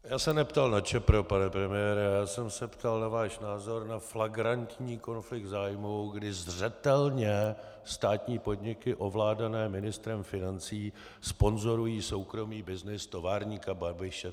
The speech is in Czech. Já se neptal na ČEPRO, pane premiére, já jsem se ptal na váš názor na flagrantní konflikt zájmů, kdy zřetelně státní podniky ovládané ministrem financí sponzorují soukromý byznys továrníka Babiše.